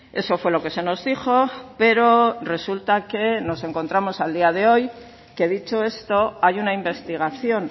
eso fue lo que se nos dijo pero resulta que nos encontramos a día de hoy que dicho esto hay una investigación